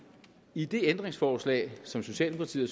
i det ændringsforslag som socialdemokratiet